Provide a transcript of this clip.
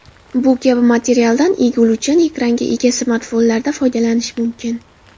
Bu kabi materialdan egiluvchan ekranga ega smartfonlarda foydalanish mumkin.